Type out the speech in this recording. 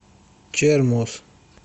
чермоз